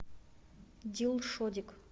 дилшодик